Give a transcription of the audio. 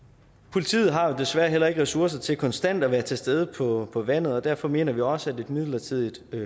politiet har jo desværre heller ikke ressourcer til konstant at være til stede på på vandet og derfor mener vi også at et midlertidigt